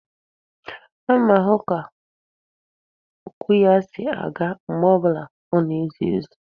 Ana m ahụ ka okwu ya si aga mgbe ọ bụla ọ na-ezi ozi.